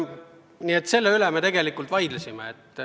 Nii et selle üle me tegelikult vaidlesime.